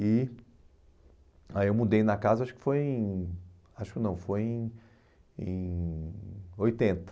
E... Aí eu mudei na casa, acho que foi em... Acho que não, foi em... Em... oitenta.